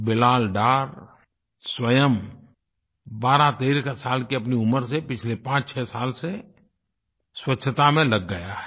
बिलाल डार स्वयं 1213 साल की अपनी उम्र से पिछले 56 साल से स्वच्छता में लग गया है